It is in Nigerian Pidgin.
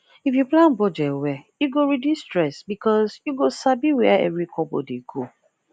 if you plan budget well e go reduce stress because you go sabi where every kobo dey go